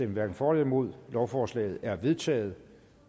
hverken for eller imod stemte lovforslaget er vedtaget